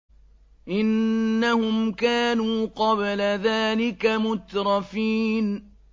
إِنَّهُمْ كَانُوا قَبْلَ ذَٰلِكَ مُتْرَفِينَ